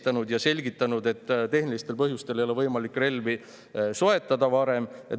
Ta selgitas, et tehnilistel põhjustel ei ole võimalik relvi soetada varem.